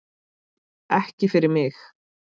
Ekki fyrir mig!